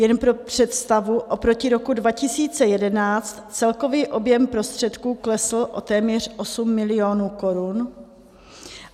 Jenom pro představu, oproti roku 2011 celkový objem prostředků klesl o téměř 8 milionů korun.